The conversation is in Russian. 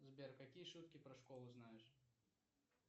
сбер какие шутки про школу знаешь